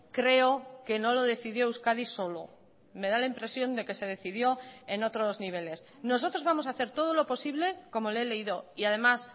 creo que no lo decidió euskadi solo me da la impresión de que se decidió en otros niveles nosotros vamos a hacer todo lo posible como le he leído y además